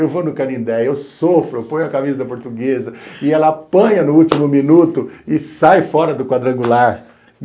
Eu vou no Canindé, eu sofro, eu ponho a camisa da Portuguesa e ela apanha no último minuto e sai fora do quadrangular.